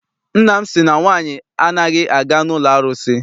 Nna m sị na nwaanyị anaghị aga n'ụlọ arụsị.